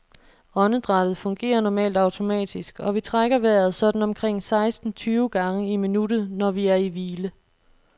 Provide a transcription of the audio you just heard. Åndedrættet fungerer normalt automatisk, og vi trækker vejret sådan omkring seksten tyve gange i minuttet, når vi er i hvile.